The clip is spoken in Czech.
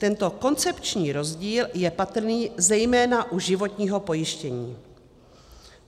Tento koncepční rozdíl je patrný zejména u životního pojištění.